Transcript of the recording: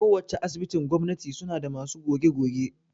Ko wacce Asibitin gwamnati suna da masu goge-goge